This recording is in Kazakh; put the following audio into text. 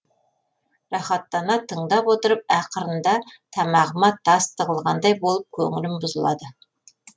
рахаттана тыңдап отырып ақырында тамағыма тас тығылғандай болып көңілім бұзылады